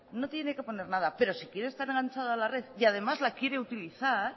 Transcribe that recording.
no tiene que poner nada pero si quiere estar enganchado a la red y además las quiere utilizar